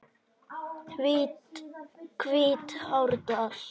Hvítárdal